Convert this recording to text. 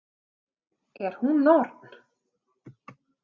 Er hún norn?